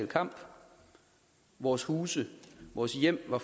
kamp og vores huse og vores hjem var